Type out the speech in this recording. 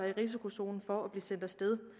i risikozonen for at blive sendt af sted